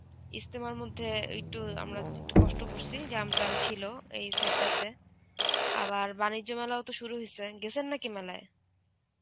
ইস্তেমার মধ্যে একটু আমরা একটু কষ্ট করছি, jam টাম ছিল, এই side টা তে. আবার বাণিজ্য মেলাও তো শুরু হইসে, গেসেন নাকি মেলায়?